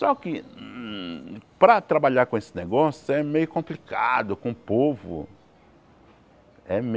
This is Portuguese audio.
Só que hum para trabalhar com esse negócio é meio complicado, com o povo. É meio